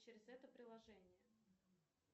через это приложение